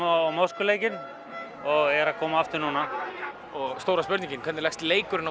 á Moskvuleikinn og er að koma aftur núna og stóra spurningin hvernig leggst leikurinn